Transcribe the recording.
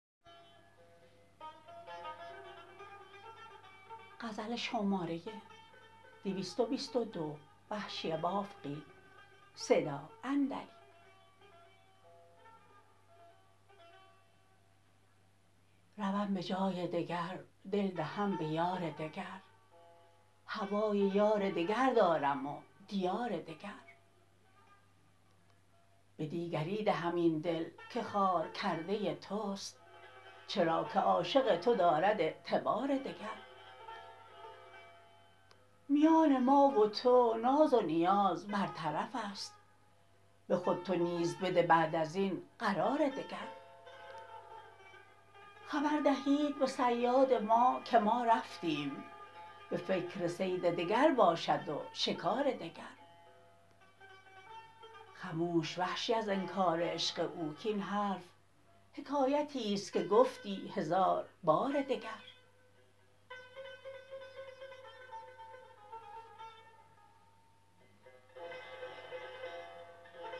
روم به جای دگر دل دهم به یار دگر هوای یار دگر دارم و دیار دگر به دیگری دهم این دل که خوار کرده تست چرا که عاشق تو دارد اعتبار دگر میان ما و تو ناز و نیاز بر طرف است به خود تو نیز بده بعد از این قرار دگر خبر دهید به صیاد ما که ما رفتیم به فکر صید دگر باشد و شکار دگر خموش وحشی از انکار عشق او کاین حرف حکایتیست که گفتی هزار بار دگر